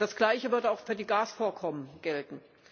Das Gleiche sollte auch für die Gasvorkommen gelten.